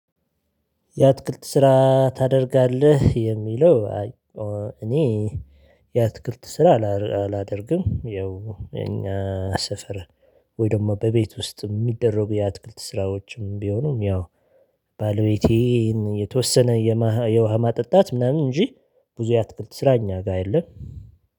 የአትክልት ስራ ታደርጋለህ? የሚለው እኔ የአትክልት ስራ አላደርግም ያው የኛ ሰፈር ወይ ደግሞ በቤት ውስጥ የሚደረጉ የአትክልት ስራዎችም ቢሆኑም ያው ባለቤቴን የተወሰነ የውሃ ማጠጣት ምናምን እንጂ ብዙ የአትክልት ስራ እኛ ጋር የለም።